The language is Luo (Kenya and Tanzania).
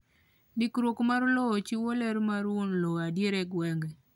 Ndikruok mar lowo chiwo ler mar wuon lowo adier e gwenge.